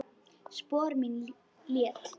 Spor mín létt.